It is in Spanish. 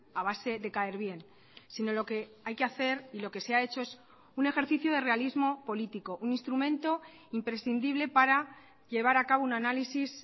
a base de caer bien sino lo que hay que hacer y lo que se ha hecho es un ejercicio de realismo político un instrumento imprescindible para llevar a cabo un análisis